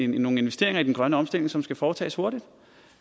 nogle investeringer i den grønne omstilling som skal foretages hurtigt